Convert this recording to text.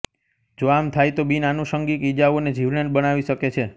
જો આમ થાય તો બિનઆનુશંગિક ઈજાઓને જીવલેણ બનાવી શકે છે